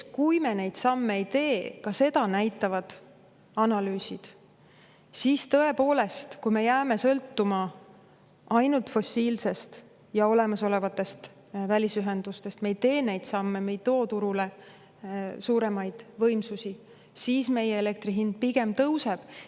Kui me neid samme ei tee, siis ka seda näitavad analüüsid, et tõepoolest, kui me jääme sõltuma ainult fossiilsest ja olemasolevatest välisühendustest, kui me ei tee neid samme, ei too turule suuremaid võimsusi, siis meie elektri hind pigem tõuseb.